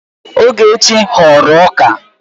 Ogechi ghọrọ ọka